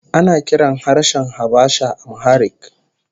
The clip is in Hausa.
Ana kiran harshen Habasha Amharic